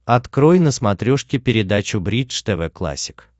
открой на смотрешке передачу бридж тв классик